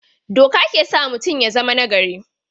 Doka ke sa mutum ya zama nagari.